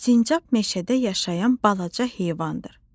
Sincab meşədə yaşayan balaca heyvandır.